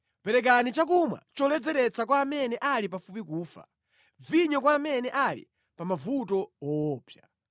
Perekani chakumwa choledzeretsa kwa amene ali pafupi kufa, vinyo kwa amene ali pa mavuto woopsa;